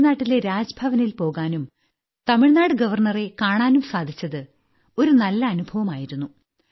തമിഴ്നാട്ടിലെ രാജ്ഭവനിൽ പോകാനും തമിഴ്നാട് ഗവർണറെ കാണാനും സാധിച്ചത് ഒരു നല്ല അനുഭവമായിരുന്നു